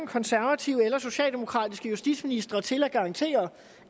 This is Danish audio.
konservative eller socialdemokratiske justitsministre til at garantere